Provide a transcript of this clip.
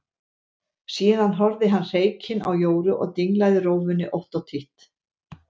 Síðan horfði hann hreykinn á Jóru og dinglaði rófunni ótt og títt.